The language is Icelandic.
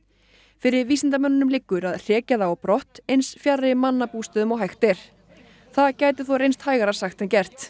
fyrir vísindamönnunum liggur að hrekja þá á brott eins fjarri mannabústöðum og hægt er það gæti þó reynst hægara sagt en gert